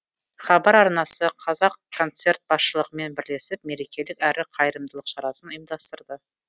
хабар арнасы қазақконцерт басшылығымен бірлесіп мерекелік әрі қайырымдылық шарасын ұйымдастырды